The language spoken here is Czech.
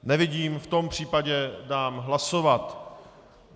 Nevidím, v tom případě dám hlasovat.